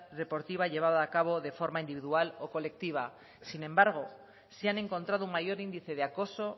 deportiva llevada a cabo de forma individual o colectiva sin embargo se han encontrado un mayor índice de acoso